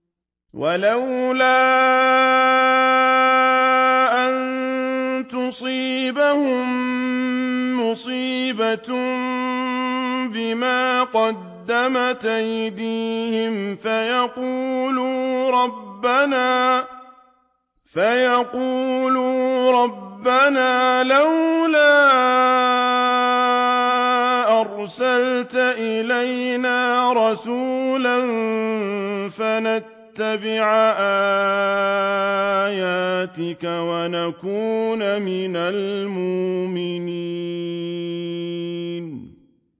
وَلَوْلَا أَن تُصِيبَهُم مُّصِيبَةٌ بِمَا قَدَّمَتْ أَيْدِيهِمْ فَيَقُولُوا رَبَّنَا لَوْلَا أَرْسَلْتَ إِلَيْنَا رَسُولًا فَنَتَّبِعَ آيَاتِكَ وَنَكُونَ مِنَ الْمُؤْمِنِينَ